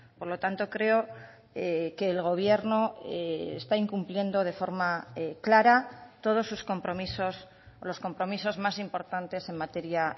por lo tanto creo que el gobierno está incumpliendo de forma clara todos sus compromisos los compromisos más importantes en materia